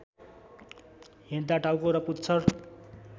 हिँड्दा टाउको र पुच्छर